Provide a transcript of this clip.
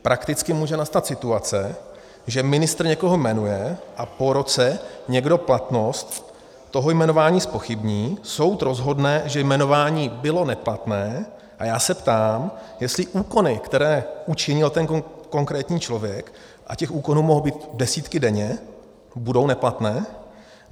Prakticky může nastat situace, že ministr někoho jmenuje a po roce někdo platnost toho jmenování zpochybní, soud rozhodne, že jmenování bylo neplatné, a já se ptám, jestli úkony, které učinil ten konkrétní člověk, a těch úkonů mohou být desítky denně, budou neplatné.